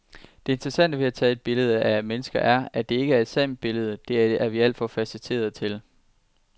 Det interessante ved at tage billeder af mennesker er, at der ikke er et sandt billede, det er vi alt for facetterede til.